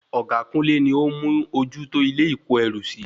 Ọ̀gá kúnlé ni ó ń mú ojú tó ilé ìko ẹrú sí